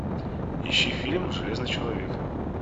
ищи фильм железный человек